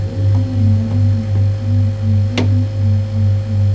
एक मैदान है जिसमें घोड़े हैं चार पांच चलर--